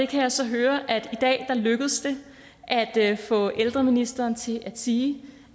kan så høre at det i dag er lykkedes at at få ældreministeren til at sige